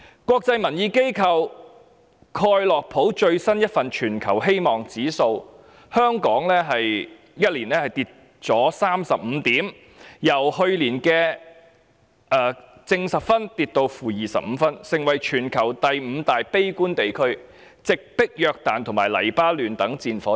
國際民意機構蓋洛普最新一份全球希望指數報告指出，香港在1年間便下跌了35點，由去年的 +10 分跌至 -25 分，成為全球第五大悲觀地區，直迫約旦和黎巴嫩等戰火之地。